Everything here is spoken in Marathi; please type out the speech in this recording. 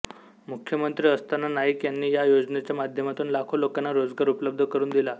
मुख्यमंत्री असताना नाईक यांनी या योजनेच्या माध्यमातून लाखो लोकांना रोजगार उपलब्ध करून दिला